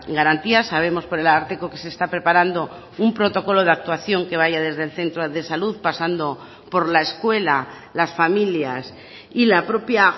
garantía sabemos por el ararteko que se está preparando un protocolo de actuación que vaya desde el centro de salud pasando por la escuela las familias y la propia